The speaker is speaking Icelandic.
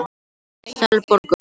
Selborgum